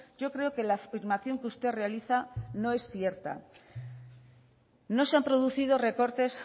yo creo que la afirmación que usted realiza no es cierta no se ha producido recortes